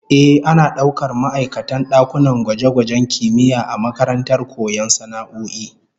Ehh, ana daukar ma'aikatan dakunan gwaje-gwajen kimiyya a makarantar koyon sana'o'i